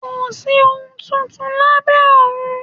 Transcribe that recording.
Kòsí ohun tuntun lábẹ́ ọ̀run